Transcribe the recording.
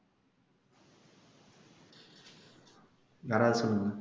யாராவது சொல்லுங்க